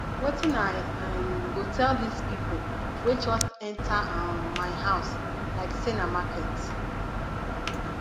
wetin i um go tell dese pipo wey just enta um my house like sey na market